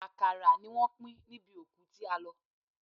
Àkàrà ni wọ́n pín níbi òkú tí a lọ.